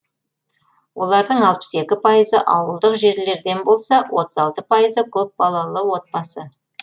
олардың алпыс екі пайызы ауылдық жерлерден болса отыз алты пайызы көпбалалы отбасы